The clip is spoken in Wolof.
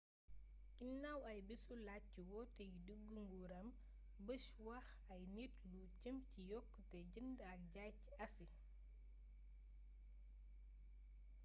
ginaaw aybésu làjj ci woote yu diggu nguuram bush wax ay nit lu jëm ci yokkute jënd ak jaay ci asi